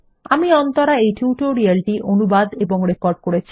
আমি অন্তরা এই টিউটোরিয়াল টি অনুবাদ এবং রেকর্ড করেছি